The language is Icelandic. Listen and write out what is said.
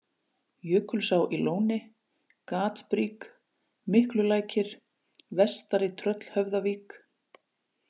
Jökulsá í Lóni, Gatbrík, Miklulækir, Vestari-Tröllhöfðavík